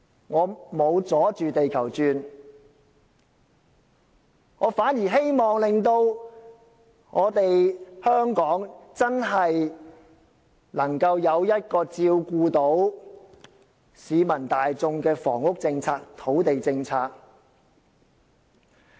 "我沒有"阻住地球轉"，我反而希望令香港能真正有一項照顧到市民大眾的土地及房屋政策。